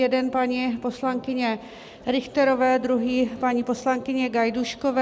Jeden paní poslankyně Richterové, druhý paní poslankyně Gajdůškové.